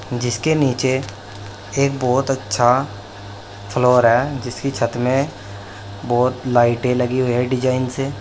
जिसके नीचे एक बहुत अच्छा फ्लोर है जिसकी छत में बहोत लाइटे लगी हुई है डिजाइन से।